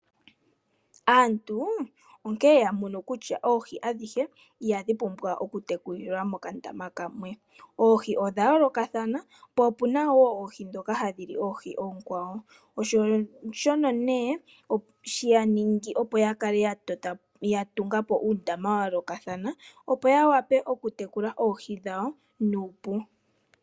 Aantu onkene yamono kutya oohi adhihe ihadhi pumbwa oku tekulilwa mokandama kamwe. Oohi odha yooloka po opena woo oohi ndhono hadhi li oonkwawo .osho nee she yaningi opo tungepo uundama wa yoolokathana opo ya wape oku oohi dhawo nuupu.